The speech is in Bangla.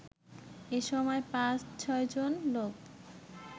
এসময় ৫/৬ জন লোক